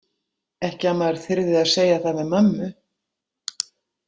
Ekki að maður þyrði að segja það við mömmu.